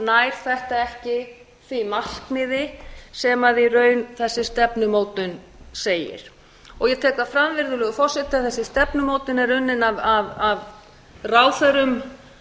nær þetta ekki því markmiði sem í raun þessi stefnumótun segir og ég tek það fram virðulegur forseti að þessi stefnumótun er unnin af ráðherrum